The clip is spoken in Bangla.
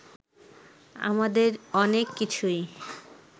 আমাদের অনেক কিছুই